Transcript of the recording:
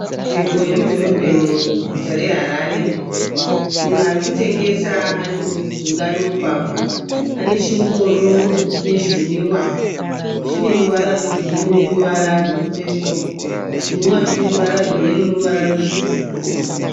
Nzvimbo yemudhorobheni muguta reHarare. Munhu ari kutengesa ari mujinga memugwagwa. Ane chingoro chine zvinwiwa chine ruvara rwegirinhi neruvara rwepepo. Zvinwiwa zvine ruvara rweyero neruvara rutsvuku.